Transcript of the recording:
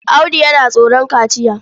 Audu yana tsoron kaciya.